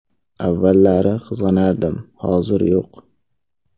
Avvallari qizg‘anardim, hozir yo‘q.